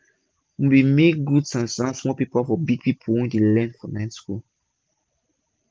we bin make gud san-san small paper for big people wey dey learn for night school.